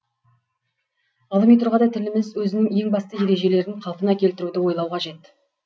ғылыми тұрғыда тіліміз өзінің ең басты ережелерін қалпына келтіруді ойлау қажет